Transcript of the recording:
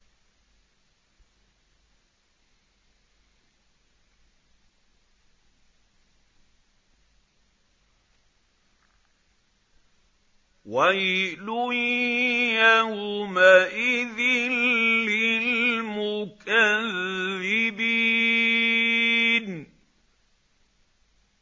وَيْلٌ يَوْمَئِذٍ لِّلْمُكَذِّبِينَ